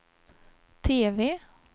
TV